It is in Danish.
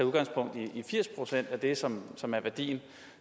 udgangspunkt i firs procent af det som som er værdien